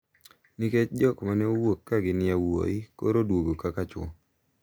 Nikech jok ma ne owuok ka gin yawuoyi koro oduogo kaka chwo.